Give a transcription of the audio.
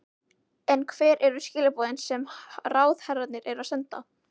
En hver eru skilaboðin sem ráðherrarnir eru að senda?